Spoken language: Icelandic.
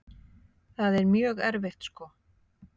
Það er mjög erfitt sko.